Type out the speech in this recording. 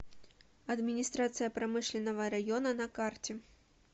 администрация промышленного района на карте